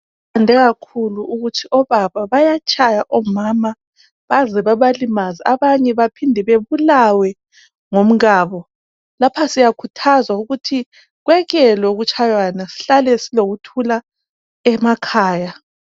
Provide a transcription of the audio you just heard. Sifunde kakhulu ukuthi obaba bayatshaya omama baze babalimaze abanye baze babulawe ngomkabo. Lapha siyakhuthazwa ukuthi kwekelwe ukutshayana, sihlale kulokuthula emakhaya